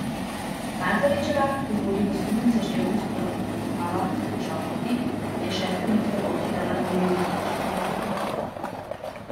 Markovičeva, ki vodi v skupnem seštevku svetovnega pokala v težavnosti, pa si je šesto mesto polfinala delila s še tremi tekmovalkami.